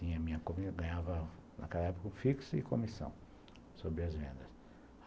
Eu ganhava, naquela época, o fixo e comissão sobre as vendas.